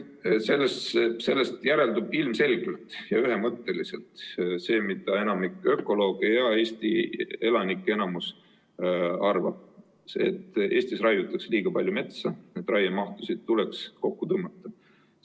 Sellest järeldub ilmselgelt ja ühemõtteliselt see, mida enamik ökolooge ja Eesti elanike enamus arvab: Eestis raiutakse liiga palju metsa ja raiemahtusid tuleks kokku tõmmata.